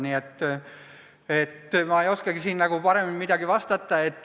Nii et ma ei oskagi siin nagu midagi paremini vastata.